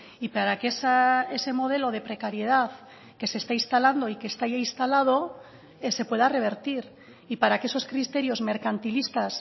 y para que ese modelo de precariedad que se está instalando y que está ya instalado se pueda revertir y para que esos criterios mercantilistas